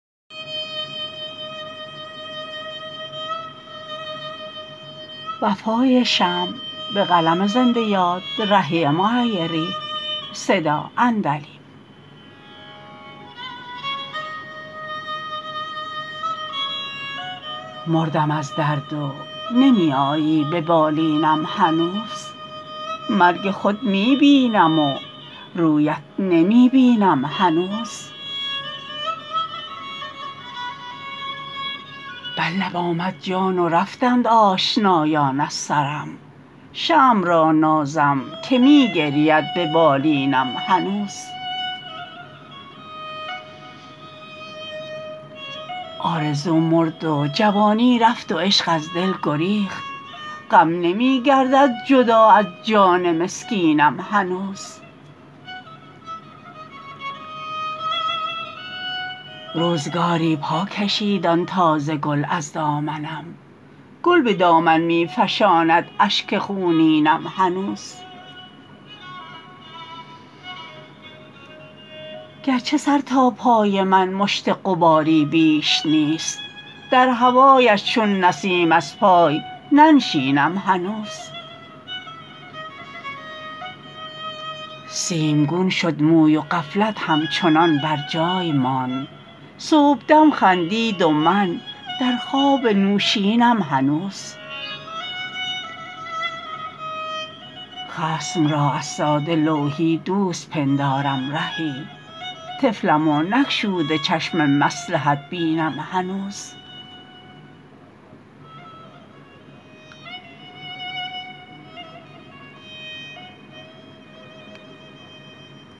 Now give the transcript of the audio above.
مردم از درد و نمی آیی به بالینم هنوز مرگ خود می بینم و رویت نمی بینم هنوز بر لب آمد جان و رفتند آشنایان از سرم شمع را نازم که می گرید به بالینم هنوز آرزو مرد و جوانی رفت و عشق از دل گریخت غم نمی گردد جدا از جان مسکینم هنوز روزگاری پا کشید آن تازه گل از دامنم گل به دامن می فشاند اشک خونینم هنوز گرچه سر تا پای من مشت غباری بیش نیست در هوایش چون نسیم از پای ننشینم هنوز سیمگون شد موی و غفلت همچنان بر جای ماند صبحدم خندید و من در خواب نوشینم هنوز خصم را از ساده لوحی دوست پندارم رهی طفلم و نگشوده چشم مصلحت بینم هنوز